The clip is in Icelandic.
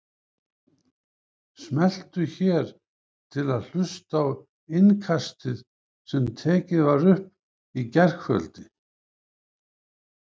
Smelltu hér til að hlusta á Innkastið sem tekið var upp í gærkvöldi